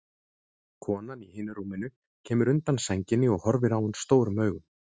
Konan í hinu rúminu kemur undan sænginni og horfir á hann stórum augum.